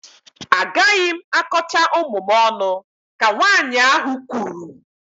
Agaghị m akọcha ụmụ m ọnụ, ka nwaanyị ahụ kwuru